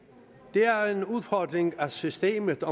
det er en udfordring at systemet